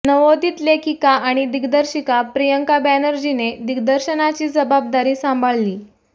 नवोदित लेखिका आणि दिग्दर्शिका प्रियांका बॅनर्जीने दिग्दर्शनाची जबाबदारी सांभाळलीय